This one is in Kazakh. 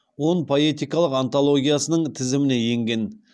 он поэтикалық антологиясының тізіміне енген